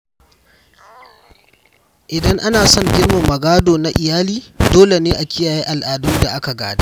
Idan ana son girmama gado na iyali, dole ne a kiyaye al’adun da aka gada.